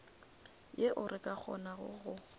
yeo re ka kgonago go